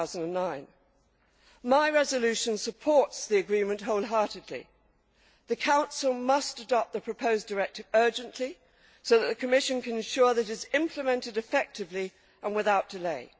2009. My resolution supports the agreement wholeheartedly. The Council must adopt the proposed directive urgently so that the Commission can ensure that it is implemented effectively and without delay.